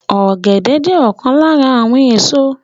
Ọ̀gẹ̀dẹ̀ jẹ́ ọ̀kan lára àwọn èso